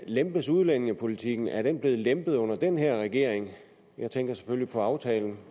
lempes udlændingepolitikken er den blevet lempet under den her regering jeg tænker selvfølgelig på aftalen